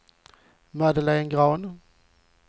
Madeleine Grahn